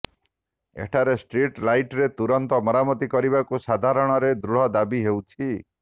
ଏଠାରେ ଷ୍ଟ୍ରିଟ୍ ଲାଇଟ୍ର ତୁରନ୍ତ ମରାମତି କରିବାକୁ ସାଧାରଣରେ ଦୃଢ ଦାବି ହେଉଛି